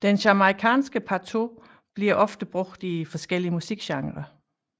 Den jamaicanske patois bliver ofte brugt i forskellige musikgenrer